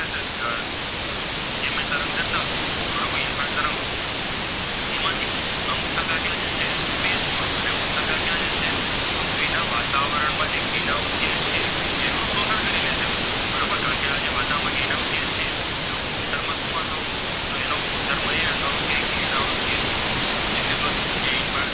ક્યાં જશે પૃથ્વીના વાતાવરણ માં જે Green house gas છે તેનું શોષણ કરી લેય છે બરોબર કારણકે આજે વાતાવરણ માં જે Green house છે તેનો ગુણધર્મો શું હતો તો એનો ગુણધર્મો એ હતો કે Green house gas નું વિષે